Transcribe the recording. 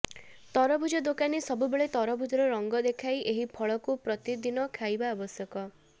ତରଭୁଜ ଦୋକାନୀ ସବୁବେଳେ ତରଭୁଜର ରଙ୍ଗ ଦେଖାଇ ଏହି ଫଳକୁ ପ୍ରତି ଦିନ ଖାଇବା ଆବଶ୍ୟକ